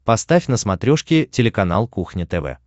поставь на смотрешке телеканал кухня тв